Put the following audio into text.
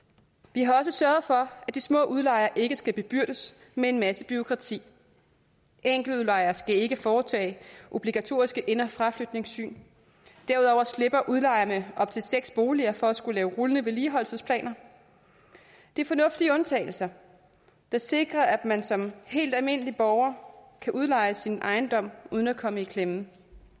vi har også sørget for at de små udlejere ikke skal bebyrdes med en masse bureaukrati enkeltudlejere skal ikke foretage obligatoriske ind og fraflytningssyn derudover slipper udlejere af op til seks boliger for at skulle lave rullende vedligeholdelsesplaner det er fornuftige undtagelser der sikrer at man som helt almindelig borger kan udleje sin ejendom uden at komme i klemme